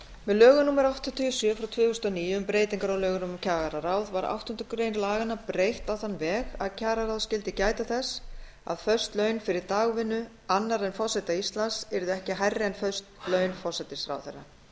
með lögum númer áttatíu og sjö tvö þúsund og níu um breytingu á lögum um kjararáð var áttundu grein laganna breytt á þann veg að kjararáð skyldi gæta þess að föst laun fyrir dagvinnu annarra en forseta íslands yrðu ekki hærri en föst laun forsætisráðherra